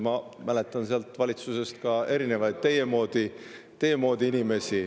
Ma mäletan sealt valitsusest ka erinevaid teie moodi inimesi.